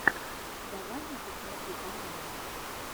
давай я посмотрю каналы